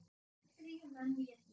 Þrír menn létust.